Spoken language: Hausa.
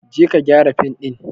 Je ka gyara fim din!